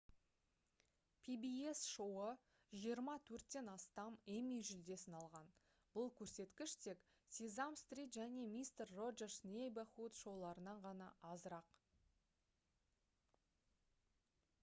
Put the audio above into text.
pbs шоуы жиырма төрттен астам эмми жүлдесін алған бұл көрсеткіш тек sesame street және mister roger's neighborhood шоуларынан ғана азырақ